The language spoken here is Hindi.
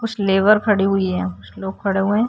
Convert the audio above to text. कुछ लेबर खड़ी हुई हैं यहाँ। कुछ लोग खड़ा हुए।